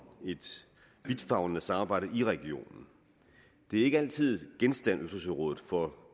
et vidtfavnende samarbejde i regionen det er ikke altid genstand for